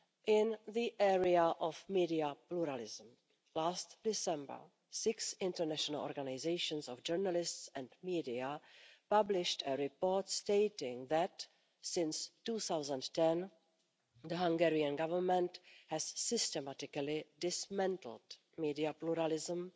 In the area of media pluralism, last December, six international organisations of journalists and media published a report stating that, since 2010, the Hungarian Government has systematically dismantled media pluralism,